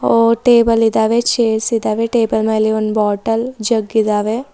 ಓ table ಇದಾವೆ chairs ಇದಾವೆ table ಮೇಲೆ ಒನ್ ಬಾಟಲ್ ಜಗ್ ಇದಾವೆ.